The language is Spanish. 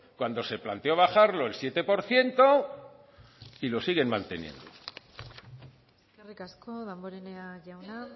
cuando se planteó bajarlo el siete por ciento y lo siguen manteniendo eskerrik asko damborenea jauna